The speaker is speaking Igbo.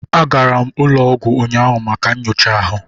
Agara m ụlọ ọgwụ ụnyaahụ maka nyocha ahụ